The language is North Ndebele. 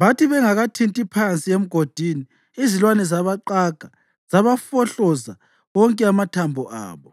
Bathi bengakathinti phansi emgodini izilwane zabaqaga zabafohloza wonke amathambo abo.